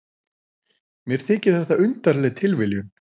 Mér þykir þetta undarleg tilviljun.